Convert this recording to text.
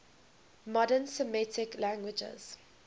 modern semitic languages